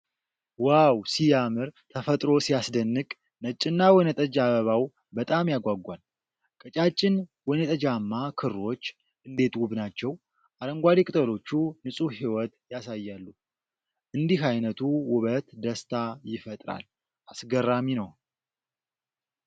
ዋው ሲያምር! ተፈጥሮ ሲያስደንቅ! ነጭና ወይንጠጅ አበባው በጣም ያጓጓል። ቀጫጭን ወይንጠጃማ ክሮች እንዴት ውብ ናቸው! አረንጓዴ ቅጠሎቹ ንጹህ ህይወት ያሳያሉ። እንዲህ አይነቱ ውበት ደስታ ይፈጥራል። አስገራሚ ነው።